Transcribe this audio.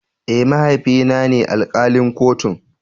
Eh, mahaifi na ne alkalin kotun.